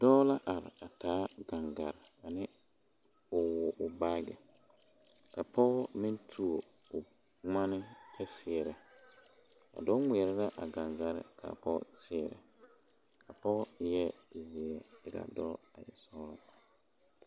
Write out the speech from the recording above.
Dɔɔ la are a taa gaŋgaa ne o woɔ baagi ka pɔge meŋ tuo o boma meŋ kyɛ seɛrɛ a dɔɔ ŋmeɛrɛ la a gaŋgare kyɛ ka a pɔge seɛrɛ a pɔge eɛ zeɛ ka. a dɔɔ e ɛɔglaa.